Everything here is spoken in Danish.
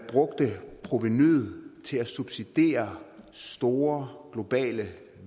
brugte provenuet til at subsidiere store globale